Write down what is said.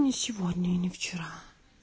ни сегодня и ни вчера